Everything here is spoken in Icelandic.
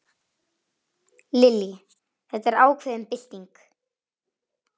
Lillý: Þetta er ákveðin bylting?